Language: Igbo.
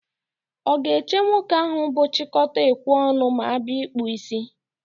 Ọ ga-eche nwoke ahụ bụ chịkọta ekwe ọnụ ma abịa n'ịkpụ ísí?